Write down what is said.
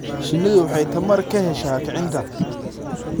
Shinnidu waxay tamar ka heshaa kicinta.